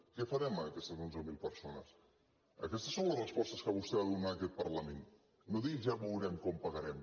què farem ara amb aquestes onze mil persones aquestes són les respostes que vostè ha de donar en aquest parlament no digui ja veurem quan pagarem